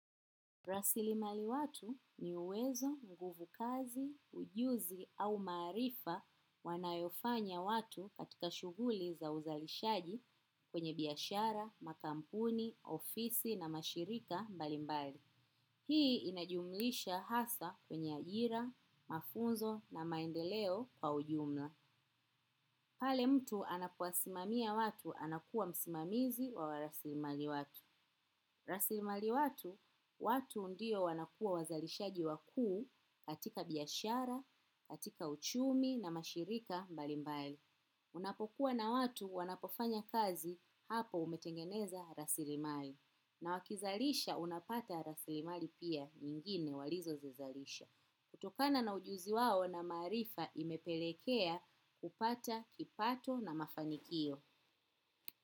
Rasilimali watu ni uwezo, nguvu kazi, ujuzi au maarifa wanayofanya watu katika shughuli za uzalishaji kwenye biashara, makampuni, ofisi na mashirika mbali mbali. Hii inajumuisha hasa kwenye ajira mafunzo na maendeleo kwa ujumla. Pale mtu anapo wasimamia watu anakuwa msimamizi au rasilimali watu. Rasilimali watu, watu ndiyo wanakuwa wazalishaji wakuu katika biashara, katika uchumi na mashirika mbalimbali. Unapokuwa na watu wanapofanya kazi hapo umetengeneza rasilimali. Na wakizalisha unapata rasilimali pia, nyingine walizozizalisha. Kutokana na ujuzi wao na maarifa imepelekea kupata kipato na mafanikio.